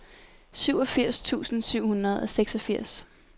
syvogfirs tusind syv hundrede og seksogfirs